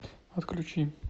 отключи